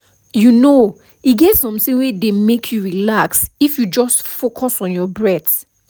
you know e get something wey dey make you relax if you just focus on your breath